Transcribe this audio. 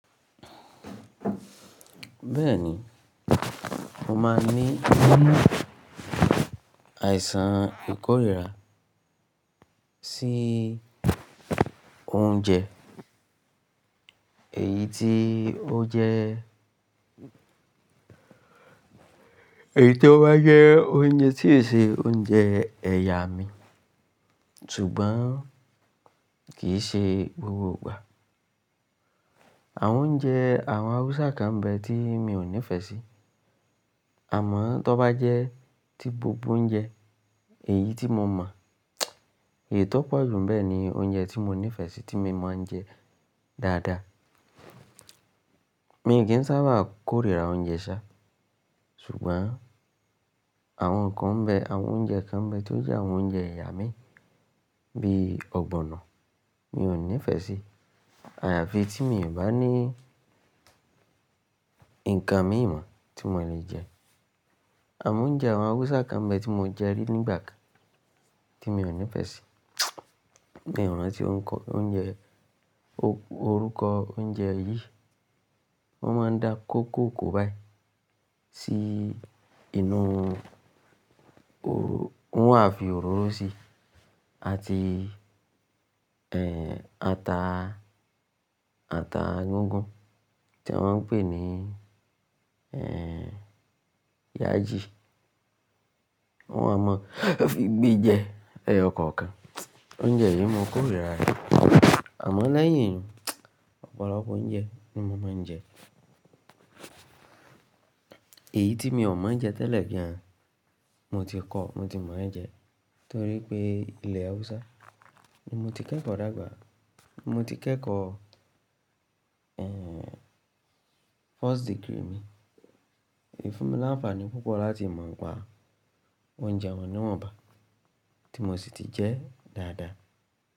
Bẹ́ẹ̀ni, mo máa ń ni ní àìsàn ìkórìíra sí oúnjẹ èyí tí ó jẹ́, èyí tí ó bá jẹ́ oúnjẹ tí e ṣe oúnjẹ ẹ̀yà mi, ṣùgbọ́n kì í ṣe gbogbo ìgbà. Àwọn oúnjẹ àwọn Haúsá kan bẹ́ tí mi ò nífẹ̀ẹ́ sí. Àmọ́ tó bá jẹ́ tí gbogbo oúnjẹ èyí tí mo mọ̀, èyí tó pọ̀ jù nbẹ̀ ni oúnjẹ tí mo nífẹ̀ẹ́ sí tí mo máa ń jẹ dáadáa. Mi kì í sábà kórìíra oúnjẹ ṣá, ṣùgbọ́n àwọn nǹkan bẹ́, àwọn oúnjẹ kan bẹ́ tó jẹ́ àwọn oúnjẹ ẹ̀yà mi bí i ọ̀gbọ̀nọ̀ mi ò nífẹ̀ẹ́ sí. Àyàfi tí mi ò bá ní nǹkan míìmọ́ tí mo lè jẹ. Àmọ́ oúnjẹ àwọn Haúsá kan bẹ́ tí mo jẹ rí nígbà kan tí mi ò nífẹ̀ẹ́ sí. Mi ò ranti oruko ounje e orúkọ oúnjẹ yìí. Wọ́n máa ń da kókò kò báyii sí inú wọ́n wá fi òróró síi àti, ẹ́, ata, ata gígùn tí a maa ń pè ní, ẹ́, yaji. Wọ́n a máa fi gbé e jẹ ẹyọ kọ̀ọ̀kan. Oúnjẹ yìí mo kórìíra rẹ̀. Àmọ́ lẹ́yìn ọ̀pọ̀lọpọ̀ oúnjẹ ni mo máa ń jẹ. Èyí tí mi ò mọ̀ ń jẹ tẹ́lẹ̀ gan mo ti kọ́, mo ti mọ̀ ọ́n jẹ, torí pé ilẹ̀ Haúsá ni mo ti kẹ́kọ̀ọ́ dágbà. Mo ti kẹ́kọ̀ọ́, ẹ́ẹ́, first degree mi. Ìfúnmi láǹfààní púpọ̀ láti mọ̀ pa oúnjẹ wọn ni wòn bá ti mo sì ti jẹ dáadáa.